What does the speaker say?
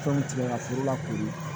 Fɛnw tigɛ ka foro lakori